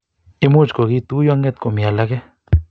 imuuch kokituyo nget komii alaake